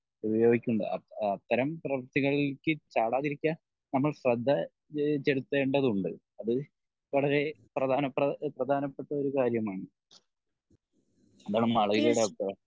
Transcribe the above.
ഉപയോഗിക്കുന്നുണ്ട് അത്തരം പ്രവർത്തികളിലേക് ചാടാതിരിക്കാൻ നമ്മൾ ശ്രദ്ധ ചേലത്തേണ്ടതുണ്ട് അത് വളരേ പ്രധാന പ്രധാനപ്പെട്ട ഒരു കാര്യം ആണ്. എന്താണ് മാളവികയുടെ അഭിപ്രായം?